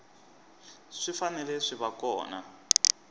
swi fanele swi va kona